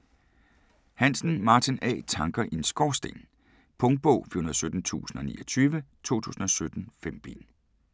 Hansen, Martin A.: Tanker i en Skorsten Punktbog 417029 2017. 5 bind.